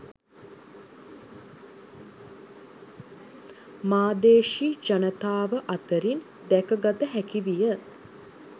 මාදේශී ජනතාව අතරින් දැකගත හැකි විය